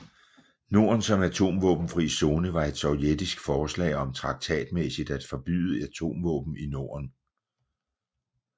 Norden som Atomvåbenfri Zone var et sovjetisk forslag om traktatmæssigt at forbyde atomvåben i Norden